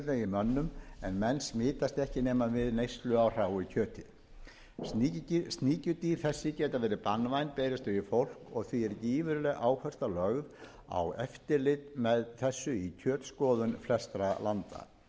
mönnum en menn smitast ekki nema við neyslu á hráu kjöti sníkjudýr þessi geta verið banvæn berist þau í fólk og því er gífurleg áhersla lögð á eftirlit með þessu í kjötskoðun flestra landa suða og frost drepa